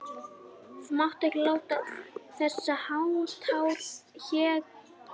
Þú mátt ekki láta þessháttar hégiljur slá þig útaf laginu.